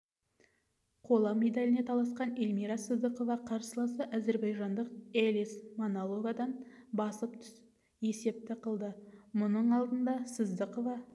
қола медаліне таласқан эльмира сыздықова қарсыласы әзербайжандық элис маноловадан басып түсіп есепті қылды мұның алдында сыздықова